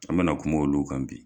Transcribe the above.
An mɛ na kuma olu kan bi.